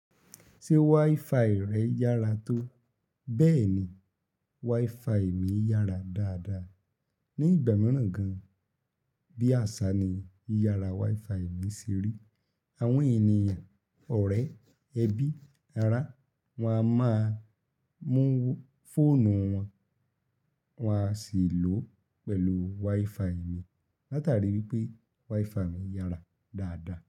Ṣé WiFi rẹ yára tó? Bẹ́ẹ̀ni, WiFi mi yára dáadáa. Ni ìgbà mìíràn gan, bí àṣá ni yiyára WiFi mi ṣe rí. Àwọn ènìyàn, ọ̀rẹ́, ẹbí, ará, wọ́n a máa mú fóònù wọn, wọ́n a sì lò ó pẹ̀lú WiFi mi. Látarí wípé WiFi mi yára dáadáa.